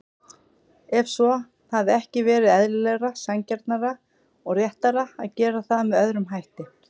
Ef svo, hefði ekki verið eðlilegra, sanngjarnara og réttara að gera það með öðrum hætti?